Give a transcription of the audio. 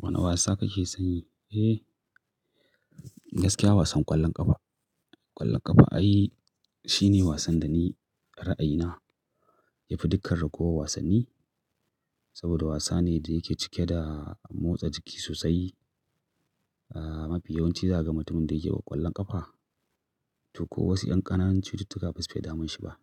Wane wasa kake son yi? Eh, gaskiya wasan ƙwallon ƙafa. Ƙwallon ƙafa ai shine wasan da ni ra'ayina yafi dukkar raguwar wasanni. Saboda wasa ne da yake cike da motsa jiki sosai. Ah, mafi yawan ci za ga mutumin da yake ƙwallon ƙafa. To ko wasu ƴan ƙananun cututtuka basu fiye damun shi ba.